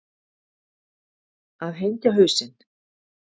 Að hengja hausinn